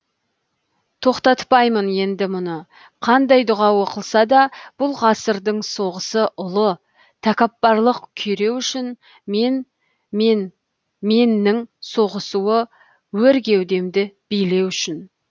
тоқтатпаймын енді мұны қандай дұға оқылса да бұл ғасырдың соғысы ұлы тәкаппарлық күйреу үшін мен мен меннің соғысуы өр кеудемді билеу үшін